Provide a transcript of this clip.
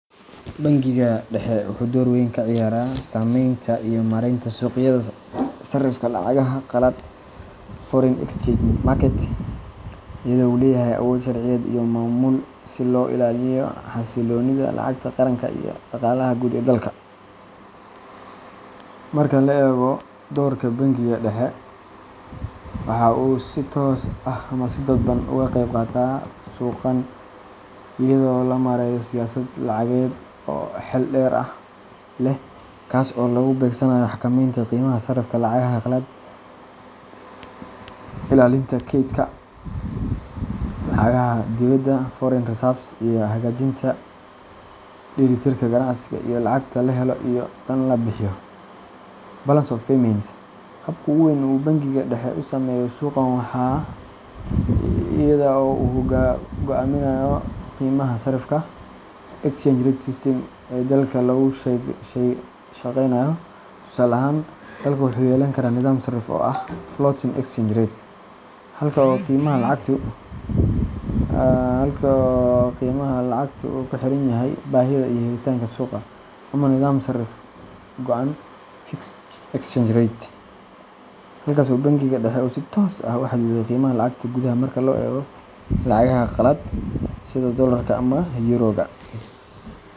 Bangiga Dhexe wuxuu door aad u weyn ka ciyaaraa sameynta iyo maaraynta suuqyada sarifka lacagaha qalaad foreign exchange market, iyadoo uu leeyahay awood sharciyeed iyo maamul si loo ilaaliyo xasilloonida lacagta qaranka iyo dhaqaalaha guud ee dalka. Marka la eego doorka Bangiga Dhexe, waxa uu si toos ah ama si dadban uga qayb qaataa suuqan iyada oo loo marayo siyaasad lacageed oo xeel dheer leh, kaas oo lagu beegsanayo xakamaynta qiimaha sarrifka lacagaha qalaad, ilaalinta kaydka lacagaha dibedda foreign reserves, iyo hagaajinta dheelitirka ganacsiga iyo lacagta laga helo iyo tan la bixiyo balance of payments. Habka ugu weyn ee uu Bangiga Dhexe u sameeyo suuqan waa iyada oo uu go'aamiyo qiimaha sarrifka exchange rate system ee dalka lagu shaqaynayo. Tusaale ahaan, dalku wuxuu yeelan karaa nidaam sarrif xor ah floating exchange rate halkaas oo qiimaha lacagtu uu ku xiran yahay baahida iyo helitaanka suuqa, ama nidaam sarrif go'an fixed exchange rate halkaas oo Bangiga Dhexe uu si toos ah u xadido qiimaha lacagta gudaha marka loo eego lacagaha qalaad sida dollarka ama euro-ga.